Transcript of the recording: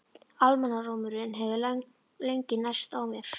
Almannarómurinn hefur lengi nærst á mér.